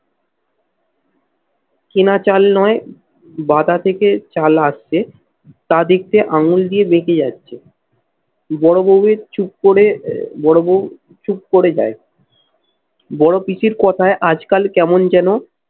কেনা চাল নয়, বাদা থেকে চাল আসছে তা দেখতে আঙুল দিয়ে বেঁকে যাচ্ছে বড় বৌয়ের চুপ করে বড় বউ চুপ করে যাই বড় পিসির কথায় আজকাল কেমন যেন